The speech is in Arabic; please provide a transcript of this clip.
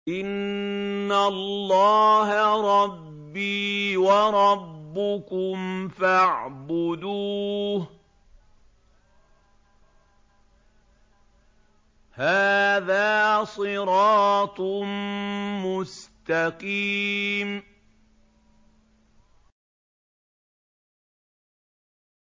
إِنَّ اللَّهَ رَبِّي وَرَبُّكُمْ فَاعْبُدُوهُ ۗ هَٰذَا صِرَاطٌ مُّسْتَقِيمٌ